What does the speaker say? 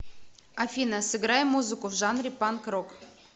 афина сыграй музыку в жанре панк рок